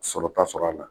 Sɔrɔta sɔrɔ a la